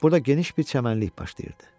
Burda geniş bir çəmənlik başlayırdı.